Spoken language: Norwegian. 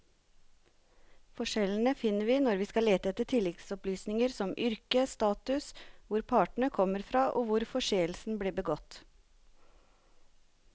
Forskjellene finner vi når vi skal lete etter tilleggsopplysninger som yrke, status, hvor partene kom fra og hvor forseelsen ble begått.